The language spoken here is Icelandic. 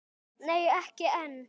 Nei ekki enn.